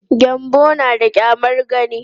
Gyanbo na da ƙyamar gani.